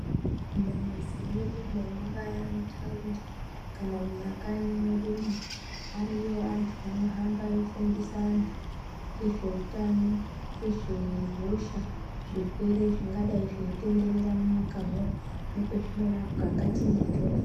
Mumamizi mwedumo mungaa mutaundi kana mumakanyi mwedumwo ariyo antu anohamba eifundisa antu ngezveutano ngezve hosha zvirwere zvingadai zveitenderera munyikamwo nekwezvinorapwa ngatiende tofu.